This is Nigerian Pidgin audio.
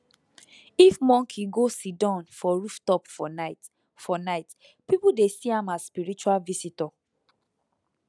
if monkey go siddon for rooftop for night for night people dey see am as spiritual visitor